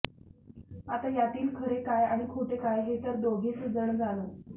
आता यातील खरे काय आणि खोटे काय हे तर दोघेच जण जाणो